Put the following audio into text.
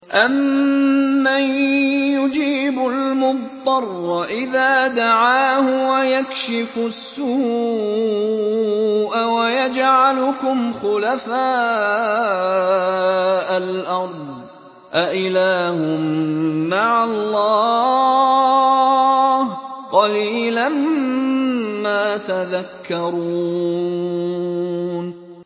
أَمَّن يُجِيبُ الْمُضْطَرَّ إِذَا دَعَاهُ وَيَكْشِفُ السُّوءَ وَيَجْعَلُكُمْ خُلَفَاءَ الْأَرْضِ ۗ أَإِلَٰهٌ مَّعَ اللَّهِ ۚ قَلِيلًا مَّا تَذَكَّرُونَ